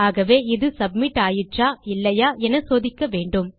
ஆகவே இது சப்மிட் ஆயிற்றா இல்லையா என சோதிக்க வேண்டும்